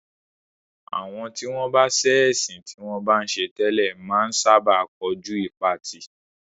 Àwọn tí wọ́n bá sẹ́ ẹ̀sìn tí wọ́n bá ń ṣe tẹ́lẹ̀ máa ń sábà kojú ìpatì.